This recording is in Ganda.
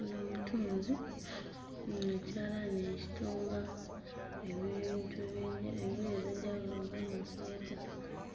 Ono mutunzi hmm ekyalaanai ekitunga ebintu ebye engoye ez'enjawulo ng'amasweeta,